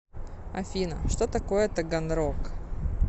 афина что такое таганрог